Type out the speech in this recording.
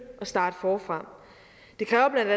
og starte forfra det kræver